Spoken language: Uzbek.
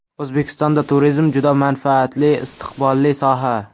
O‘zbekistonda turizm juda manfaatli, istiqbolli soha.